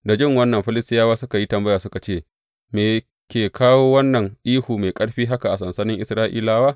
Da jin wannan, Filistiyawa suka yi tambaya suka ce, Me ke kawo wannan ihu mai ƙarfi haka a sansanin Isra’ilawa?